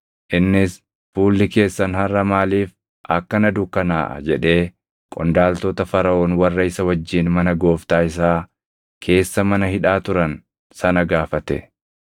Innis, “Fuulli keessan harʼa maaliif akkana dukkanaaʼa?” jedhee qondaaltota Faraʼoon warra isa wajjin mana gooftaa isaa keessa mana hidhaa turan sana gaafate.